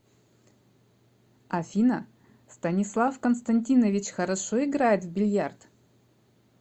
афина станислав константинович хорошо играет в бильярд